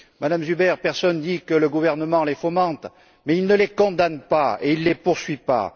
MmeZuber, personne ne dit que le gouvernement les fomente, mais il ne les condamne pas et il ne les poursuit pas!